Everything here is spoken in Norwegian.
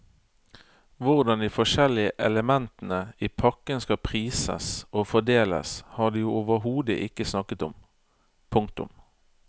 Hvordan de forskjellige elementene i pakken skal prises og fordeles har de overhodet ikke snakket om. punktum